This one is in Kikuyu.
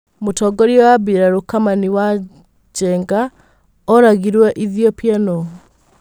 Mutongorĩa wa birarũKamanĩ wa Njonge oragĩirwo ĩthiopia nuu?